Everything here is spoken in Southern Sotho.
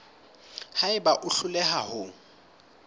ha eba o hloleha ho